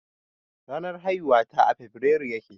Ranar haihuwata a febirairu ya ke.